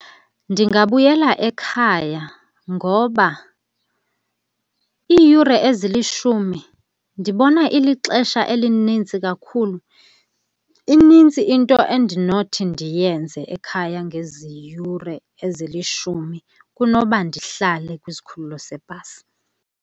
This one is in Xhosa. Ndingabuyela ekhaya ngoba iiyure ezilishumi ndibona ilixesha elinintsi kakhulu. Inintsi into endinothi ndiyenze ekhaya ngezi yure ezilishumi kunoba ndihlale kwisikhululo sebhasi.